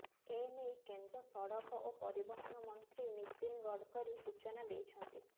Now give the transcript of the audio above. ଏନେଇ କେନ୍ଦ୍ର ସଡ଼କ ଓ ପରିବହନ ମନ୍ତ୍ରୀ ନୀତିନ ଗଡକରୀ ସୂଚନା ଦେଇଛନ୍ତି